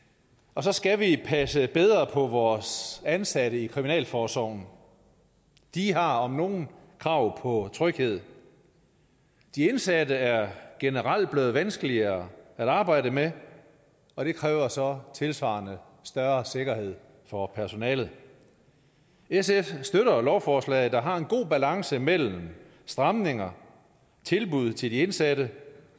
og så skal vi passe bedre på vores ansatte i kriminalforsorgen de har om nogen krav på tryghed de indsatte er generelt blevet vanskeligere at arbejde med og det kræver så tilsvarende større sikkerhed for personalet sf støtter lovforslaget som har en god balance mellem stramninger tilbud til de indsatte